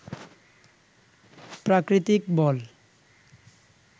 প্রাকৃতিক বল